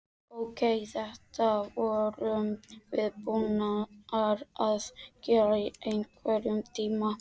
Ókei, þetta vorum við búnar að gera í einhvern tíma.